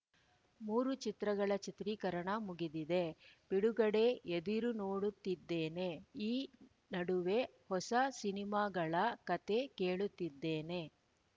ಮೂರು ಚಿತ್ರಗಳ ಚಿತ್ರೀಕರಣ ಮುಗಿದಿದೆ ಬಿಡುಗಡೆ ಎದಿರು ನೋಡುತ್ತಿದ್ದೇನೆ ಈ ನಡುವೆ ಹೊಸ ಸಿನಿಮಾಗಳ ಕತೆ ಕೇಳುತ್ತಿದ್ದೇನೆ